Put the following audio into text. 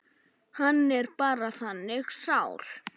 Hann er bara þannig sál.